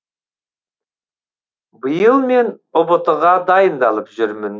биыл мен ұбт ға дайындалып жүрмін